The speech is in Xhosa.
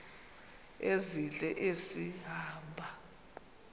ezintle esi hamba